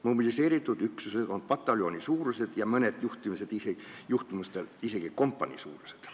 Mobiliseeritud üksused on pataljonisuurused ja mõnel juhul isegi kompaniisuurused.